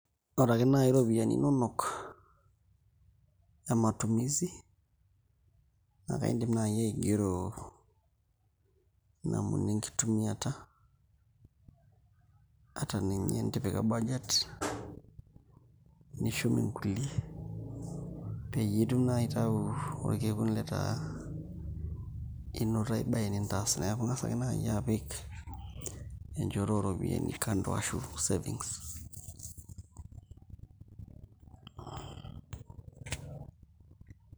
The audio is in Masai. Oreake naai iropiyiani inonok e matumizi naa kaindim naai aigero namna enkitumiata ata ninye tenitipika budget nishum nkulie peyie itum aitayu orkekun otaa inoto ai baye nintaas neeku ing'as ake naai apik enchoto ooropiyiani kando ashu savings.